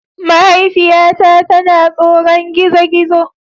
Mahaifiyata tana tsoron gizo-gizo